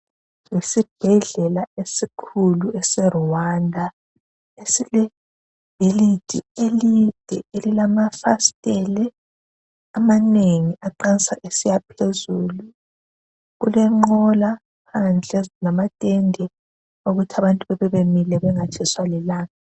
Esibhedlela esikhulu ese Rwanda esilebhilidi elide elilamafasitele amanengi aqansa esiyaphezulu, kulenqola phandle ezilamatende okuthi abantu bebebemile bangatshiswa lilanga